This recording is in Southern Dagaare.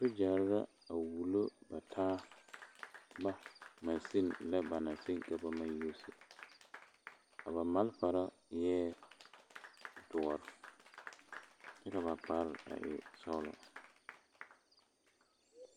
Sgyare la a wulo ba taaba maseme ba naŋ maŋ seŋ ka ba yuusi a ba malfare eɛ doɔre kyɛ ka ba kparre e sɔglɔ.